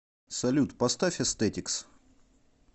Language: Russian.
салют поставь эстетикс